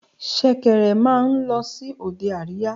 Ṣẹ̀kẹ̀rẹ̀ máa ń lọ sí òde àríyá.